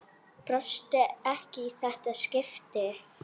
Brosti ekki í þetta skipti.